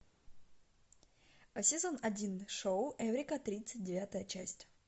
сезон один шоу эврика тридцать девятая часть